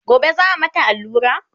gobe za'a mata allura?